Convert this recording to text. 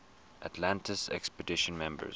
atlantis expedition members